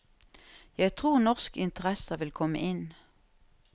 Jeg tror norske interesser vil komme inn.